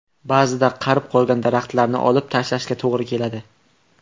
Ba’zida qarib qolgan daraxtlarni olib tashlashga to‘g‘ri keladi.